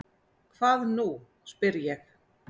Hvað nú? spyr ég.